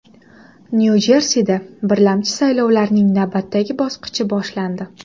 Nyu-Jersida birlamchi saylovlarning navbatdagi bosqichi boshlandi.